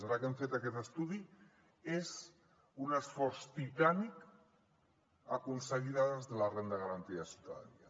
ara que hem fet aquest estudi és un esforç titànic aconseguir dades de la renda garantida de ciutadania